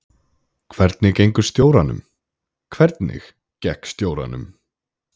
Hvernig gengur stjóranum: Hvernig gekk stjóranum?